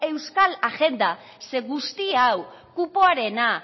euskal agenda zeren guzti hau kupoarena